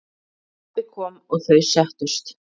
Pabbi kom og þau settust.